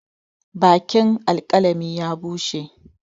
Bakin alkalami ya bushe.